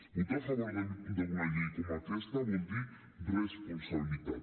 votar a favor d’una llei com aquesta vol dir responsabilitat